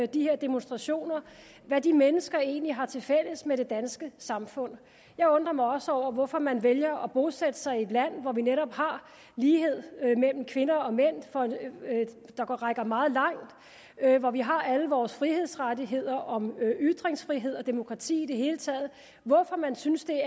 de her demonstrationer hvad de mennesker egentlig har tilfælles med det danske samfund jeg undrer mig også over hvorfor man vælger at bosætte sig i et land hvor vi netop har lighed mellem kvinder og mænd der rækker meget langt hvor vi har alle vores frihedsrettigheder om ytringsfrihed og demokrati i det hele taget og hvorfor man synes at